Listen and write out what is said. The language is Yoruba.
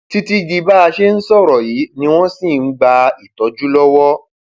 títí di bá a ṣe ń sọrọ yìí ni wọn ṣì ń gba ìtọjú lọwọ